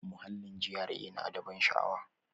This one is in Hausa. Muhallin GRA na da ban sha'awa.